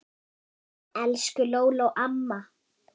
Elsku Lóló amma.